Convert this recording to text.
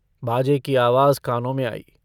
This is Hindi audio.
बाजे की आवाज कानों में आई।